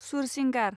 Sursingar